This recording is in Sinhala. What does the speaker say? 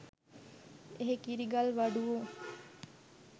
එහේ කිරි ගල් වඩුවෝ